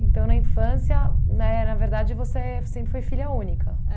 Então, na infância, né, na verdade, você sempre foi filha única?